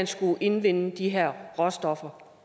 skulle indvinde de her råstoffer